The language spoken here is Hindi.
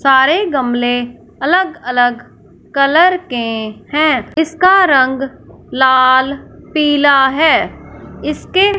सारे गमले अलग अलग कलर के है इसका रंग लाल पीला है इसके--